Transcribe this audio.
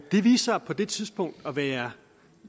det viste sig på det tidspunkt at være